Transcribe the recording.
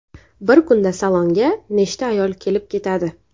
Bir kunda salonga nechta ayol kelib ketadi.